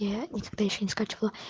я никогда ещё не скачивала